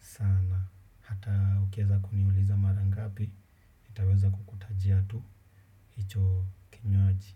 sana. Hata ukieza kuniuliza mara ngapi, nitaweza kukutajia tu hicho kinywaji.